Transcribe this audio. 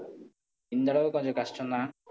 இந்த அளவுக்கு கொஞ்சம் கஷ்டம் தான்.